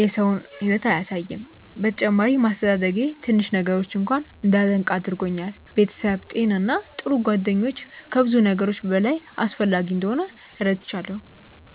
የሰው ሕይወት አያሳይም። በተጨማሪም አስተዳደጌ ትንሽ ነገሮችን እንኳ እንዳደንቅ አድርጎኛል። ቤተሰብ፣ ጤና እና ጥሩ ጓደኞች ከብዙ ነገሮች በላይ አስፈላጊ እንደሆኑ ተረድቻለሁ።